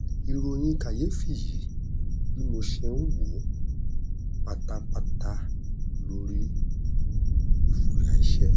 ìròyìn kàyéfì yí bí mo ṣe n wò pátápátá lórí ìfòyà iṣẹ